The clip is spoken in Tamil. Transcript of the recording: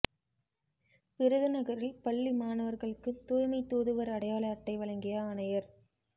விருதுநகரில் பள்ளி மாணவா்களுக்கு தூய்மை தூதுவா் அடையாள அட்டை வழங்கிய ஆணையா்